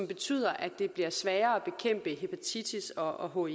betyder at det bliver sværere at bekæmpe hepatitis og og